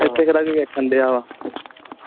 ਇੱਥੇ ਕਿਹੜਾ ਕੋਈ ਵੇਖਣ ਦਿਆਂ ਵਾ